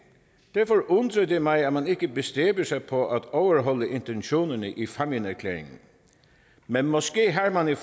derfor undrer det mig at man ikke bestræber sig på at overholde intentionerne i fámjinerklæringen men måske har man i